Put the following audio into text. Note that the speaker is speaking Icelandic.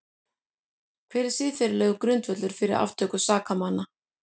Hver er siðferðilegur grundvöllur fyrir aftöku sakamanna?